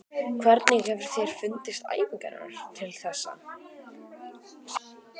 Hvernig hefur þér fundist æfingarnar til þessa?